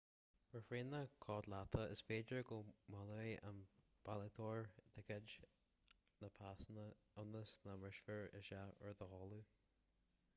ar thraenacha codlata is féidir go mbaileoidh an bailitheoir ticéad na pasanna ionas nach mbrisfear isteach ar do chodladh